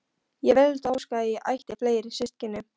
Ég vildi óska að ég ætti fleiri systkini.